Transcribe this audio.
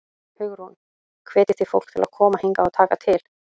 Hugrún: Hvetjið þið fólk til að koma hingað og taka til?